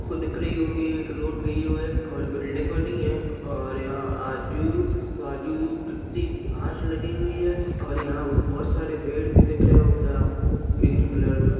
आपको दिख रही होगी एक रोड गयू है और बिल्डिंग बनी है और यहाँ आजु-बाजु कित्ती घास लगी है और यहाँ बहुत सारे पेड़ भी दिख रहे होंगे आपको ग्रीन कलर में।